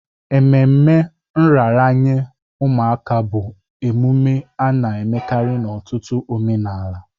Ememe nraranye ụmụaka bụ emume a na-emekarị n'ọtụtụ omenala.